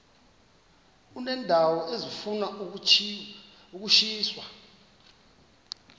uneendawo ezifuna ukushiywa